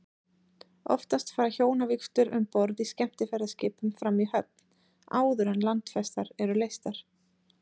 Oftast fara hjónavígslur um borð í skemmtiferðaskipum fram í höfn, áður en landfestar eru leystar.